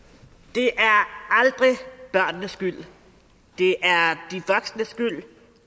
det er aldrig børnenes skyld det er de voksnes skyld